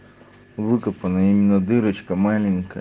выкопанна именно дырочка маленькая